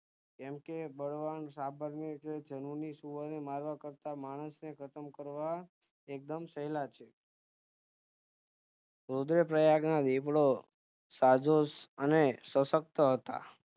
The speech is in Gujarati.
કેમકે બળવાન સાબર કે જંગલી સુવર ને મારવાકાર્તા માણસ ને ખતમ કરવા એકદમ સહેલા છે રુદ્રપ્રયાગના દીપડા સાજો અને સુષકત હતા